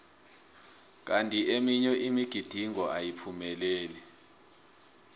kanti eminye imigidingo ayiphumeleli